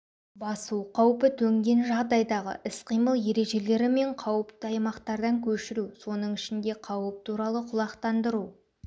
басу қаупі төнген жағдайдағы іс-қимыл ережелері мен қауіпті аймақтардан көшіру соның ішінде қауіп туралы құлақтандыру